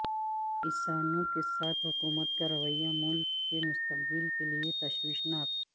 کسانوں کے ساتھ حکومت کا رویہ ملک کے مستقبل کے لئے تشویشناک